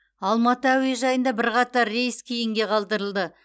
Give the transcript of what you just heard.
алматы әуежайында бірқатар рейс кейінге қалдырылды